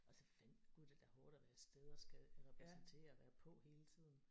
Og så gud er det da hårdt at være afsted og skal repræsentere og være på hele tiden